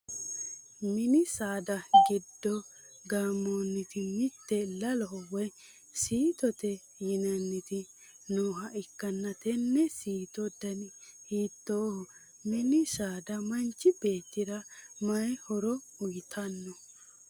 mini saada giddo gaammanniti mitte laloho woyi siitote yinanniti nooha ikkanna tenne siito dani hiitooho? mini saada manchi beettira matiyi horo uyiitanno?